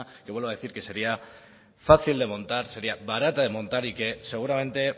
que vuelvo a decir que sería fácil de montar sería barata de montar y que seguramente